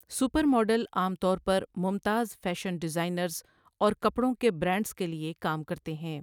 Super model عام طور پر ممتاز فیشن ڈیزائنرز اور کپڑوں کے برانڈز کے لیے کام کرتے ہیں۔